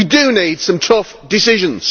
We do need some tough decisions.